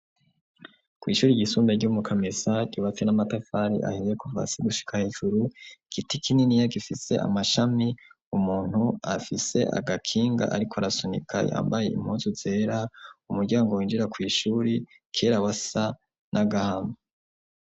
Kw'ishuri ry'isumbe ry'omu kamesa ibapfi n'amatafari aheye kuvasi gushika hejuru ikiti kininiya gifise amashami umuntu afise agakinga ariko arasunika yambaye impunsu zera umuryango winjira ku ishuri kera wasa nagahama.